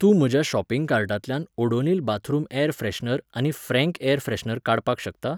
तूं म्हज्या शॉपिंग कार्टांतल्यान ओडोनिल बाथरूम ऍर फ्रॅशनर आनी फ्रँक ऍर फ्रॅशनर काडपाक शकता?